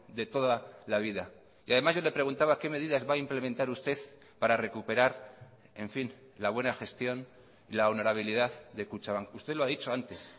de toda la vida y además yo le preguntaba qué medidas va a implementar usted para recuperar en fin la buena gestión la honorabilidad de kutxabank usted lo ha dicho antes